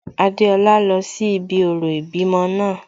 Adéọlá lọ sí ibi orò ìbímọ náà